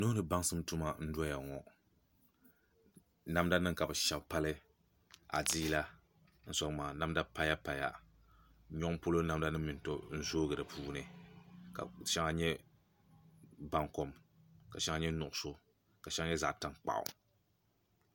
nuu ni tuma baŋsim n-doya ŋɔ namdanima ka bɛ shɛbi pali adiila n-sɔŋ maa namda paya paya nyɔŋ polo namdanima mi n-tɔm zooi di puuni ka shɛŋa nye baŋkom ka shɛŋa nye nuɣuso ka shɛŋa nye zaɣ'tankpaɣu